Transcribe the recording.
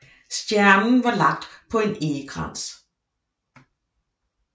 Stjernen var lagt på en egekrans